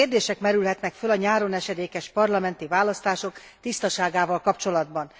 Így kérdések merülhetnek fel a nyáron esedékes parlamenti választások tisztaságával kapcsolatban.